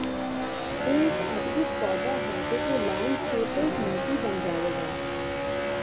ਇਹ ਇੱਕ ਅਦਭੁਤ ਪੌਦਾ ਹੈ ਜੋ ਕਿ ਲੈਂਡਸਕੇਪ ਦਾ ਇੱਕ ਮੋਤੀ ਬਣ ਜਾਵੇਗਾ